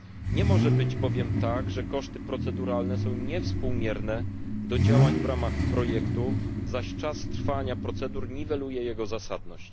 Nie może być bowiem tak, że koszty proceduralne są niewspółmierne do działań w ramach projektu, zaś czas trwania procedur niweluje jego zasadność.